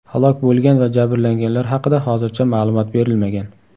Halok bo‘lgan va jabrlanganlar haqida hozircha ma’lumot berilmagan.